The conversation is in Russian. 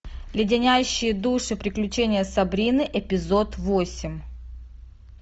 леденящие душу приключения сабрины эпизод восемь